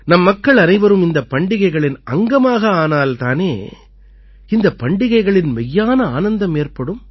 நம் மக்கள் அனைவரும் இந்தப் பண்டிகைகளின் அங்கமாக ஆனால் தானே இந்தப் பண்டிகைகளின் மெய்யான ஆனந்தம் ஏற்படும்